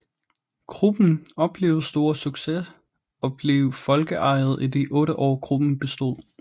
Gruppen oplevede stor succes og blev folkeeje i de 8 år gruppen bestod